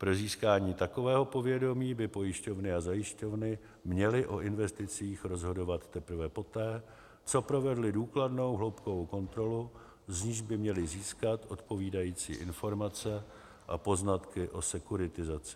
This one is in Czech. Pro získání takového povědomí by pojišťovny a zajišťovny měly o investicích rozhodovat teprve poté, co provedly důkladnou hloubkovou kontrolu, z níž by měly získat odpovídající informace a poznatky o sekuritizaci.